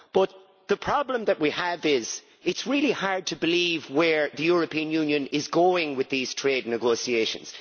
But the problem that we have is that it is really hard to believe where the European Union is going with these trade negotiations.